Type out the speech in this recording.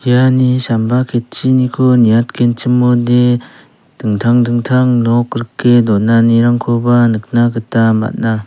iani samba ketchiniko niatgenchimode dingtang dingtang nok rike donanirangkoba nikna gita man·a.